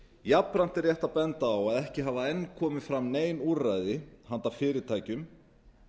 jafnframt er rétt að benda á að ekki hafa enn komið fram nein úrræði handa fyrirtækjum